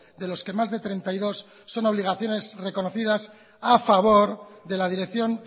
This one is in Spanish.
de los que más de treinta y dos son obligaciones reconocidas a favor de la dirección